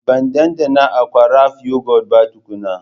Ban ɗanɗana Aqua Rafha yogurt ba tukuna